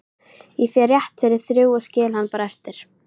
Ég fer rétt fyrir þrjú og skil hann bara eftir